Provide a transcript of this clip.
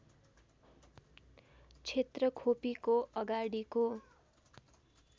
क्षेत्र खोपीको अगाडिको